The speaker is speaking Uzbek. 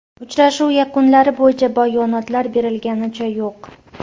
Uchrashuv yakunlari bo‘yicha bayonotlar berilganicha yo‘q.